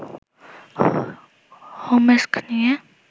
হোম্স্কে নিয়ে